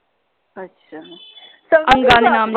ਅੱਛਾ